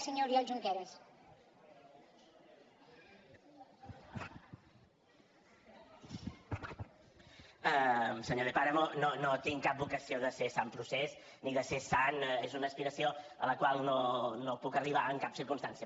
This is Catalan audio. senyor de páramo no tinc cap vocació de ser sant procés ni de ser sant és una aspiració a la qual no puc arribar en cap circumstància